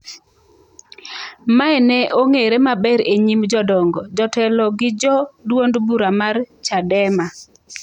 Mae ne ong'ere maber e nyim jodongo, jotelo gi jo duond bura mar Chadema.